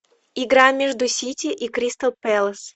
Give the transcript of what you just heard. игра между сити и кристал пэлас